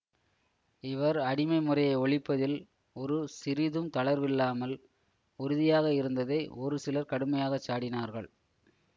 இவர் அடிமை முறையை ஒழிப்பதில் ஒரு சிறிதும் தளர்வில்லாமல் உறுதியாக இருந்ததை ஒரு சிலர் கடுமையாக சாடினார்கள்